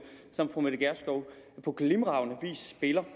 som fru mette gjerskov på glimrende vis spiller